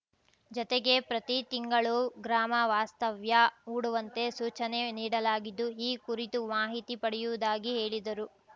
ಜೊತೆಗೆ ಪ್ರತಿ ತಿಂಗಳು ಗ್ರಾಮ ವಾಸ್ತವ್ಯ ಹೂಡುವಂತೆ ಸೂಚನೆ ನೀಡಲಾಗಿದ್ದು ಈ ಕುರಿತು ಮಾಹಿತಿ ಪಡೆಯುವುದಾಗಿ ಹೇಳಿದರು